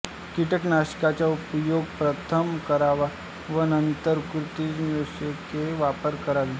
कीटकनाशकांचा उपयोग प्रथम करावा व नंतर कृंतकनाशके वापरावी